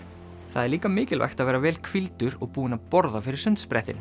það er líka mikilvægt að vera vel hvíldur og búinn að borða fyrir